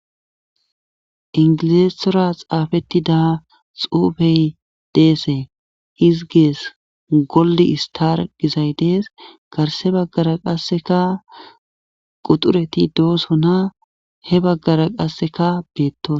Ingilessthora xaafettida xuufey deese izigees goldi istar gizay dees garse baggara qasseka quxureti dooso na he baggara qasseka beetto.